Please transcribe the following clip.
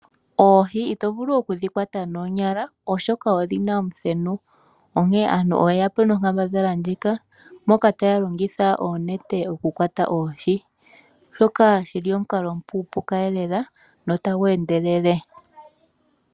Oohi ito vulu okudhi kwata noonyala oshoka odhi na omuthenu, onkene aantu oye ya po nonkambadhala ndjika moka taya longitha oonete okukwata oohi, shoka shi li omukalo omupuupuka elela nota gu endelele.